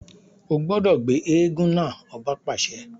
O gbọdọ gbé èègún náà! ọba paṣẹ